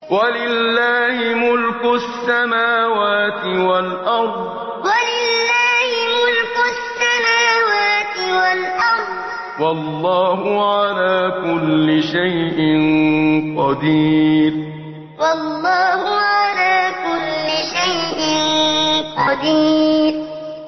وَلِلَّهِ مُلْكُ السَّمَاوَاتِ وَالْأَرْضِ ۗ وَاللَّهُ عَلَىٰ كُلِّ شَيْءٍ قَدِيرٌ وَلِلَّهِ مُلْكُ السَّمَاوَاتِ وَالْأَرْضِ ۗ وَاللَّهُ عَلَىٰ كُلِّ شَيْءٍ قَدِيرٌ